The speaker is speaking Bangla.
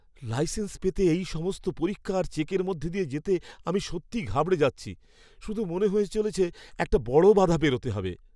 লাইসেন্স পেতে এই সমস্ত পরীক্ষা আর চেকের মধ্য দিয়ে যেতে আমি সত্যিই ঘাবড়ে যাচ্ছি। শুধু মনে হয়ে চলেছে একটা বড় বাধা পেরোতে হবে!